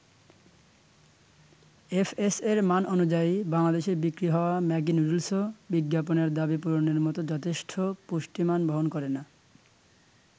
এফএসএ'র মান অনুযায়ী, বাংলাদেশে বিক্রি হওয়া ম্যাগি নুডুলসও বিজ্ঞাপনের দাবি পূরণের মতো যথেষ্ট পুষ্টিমান বহন করে না।